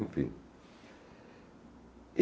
Enfim.